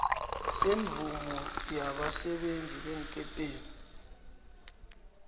semvumo yabasebenzi beenkepeni